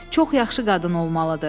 Çox yaxşı qadın olmalıdır.”